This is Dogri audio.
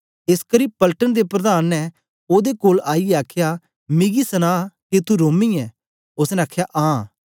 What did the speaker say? एसकरी पलटन दे प्रधान ने ओदे कोल आईयै आखया मिकी सना के तू रोमी ऐं ओसने आखया आं